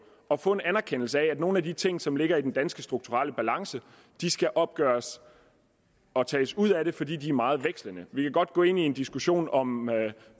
at få en anerkendelse af at nogle af de ting som ligger i den danske strukturelle balance skal opgøres og tages ud af det fordi de er meget vekslende vi kan godt gå ind i en diskussion om